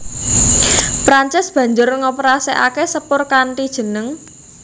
Prancis banjur ngoperasèkaké sepur kanthi jeneng